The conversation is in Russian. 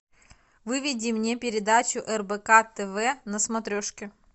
выведи мне передачу рбк тв на смотрешке